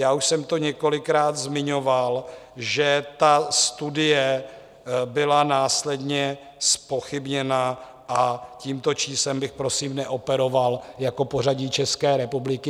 Já už jsem to několikrát zmiňoval, že ta studie byla následně zpochybněna a tímto číslem bych prosím neoperoval jako pořadí České republiky.